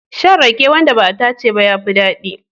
Shan rake wanda ba a tace ba ya fi daɗi.